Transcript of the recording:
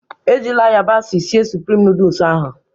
Ejila yabasị sịe Sụprịm nooduls ahụ